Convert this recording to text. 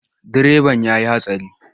Direban ya yi hatsari.